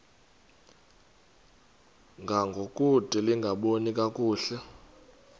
ngangokude lingaboni kakuhle